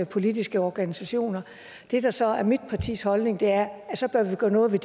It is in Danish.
politiske organisationer det der så er mit partis holdning er at så bør vi gøre noget ved